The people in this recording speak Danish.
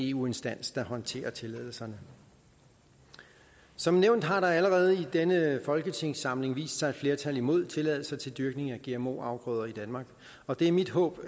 eu instans der håndterer tilladelserne som nævnt har der allerede i denne folketingssamling vist sig et flertal imod tilladelser til dyrkning af gmo afgrøder i danmark og det er mit håb